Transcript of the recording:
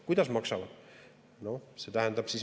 Kuidas maksavad?